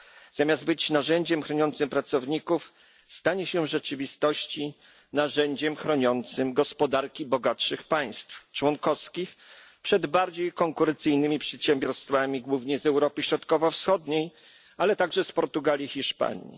Zamiast być narzędziem chroniącym pracowników stanie się w rzeczywistości narzędziem chroniącym gospodarki bogatszych państw członkowskich przed bardziej konkurencyjnymi przedsiębiorstwami, głównie z Europy Środkowo Wschodniej, ale także z Portugalii, Hiszpanii.